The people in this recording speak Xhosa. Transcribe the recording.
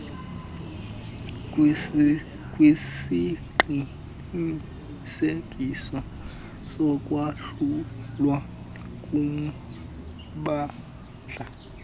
kwesiqinisekiso sokwahlulwa kommandla